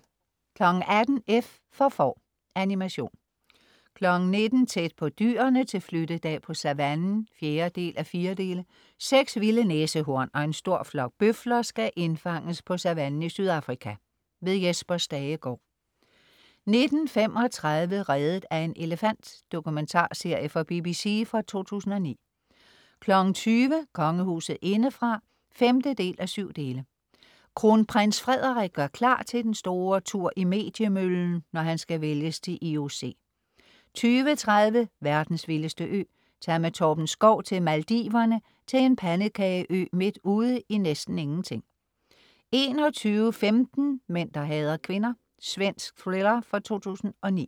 18:00 F for får. Animation 19.00 Tæt på dyrene til flyttedag på savannen 4:4 6 vilde næsehorn og en stor flok bøfler skal indfanges på savannen i Sydafrika. Jesper Stagegaard 19.35 Reddet af en elefant. Dokumentarserie fra BBC fra 2009 20.00 Kongehuset indefra 5:7 Kronprins Frederik gør klar til den store tur i mediemøllen, når han skal vælges til IOC 20.30 Verdens vildeste ø. Tag med Torben Schou til Maldiverne, til en pandekage-ø midt ude i næsten ingenting 21.15 Mænd der hader kvinder. Svensk thriller fra 2009